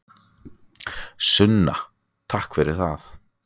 Sunna: Takk fyrir það.